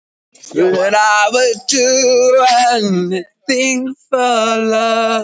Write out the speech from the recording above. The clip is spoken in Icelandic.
Þriðja staðreyndin var fólgin í fjórum ljóðlínum